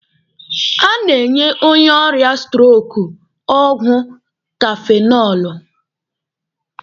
A na-enye onye ọrịa stroko ọgwụ kafenọlụ.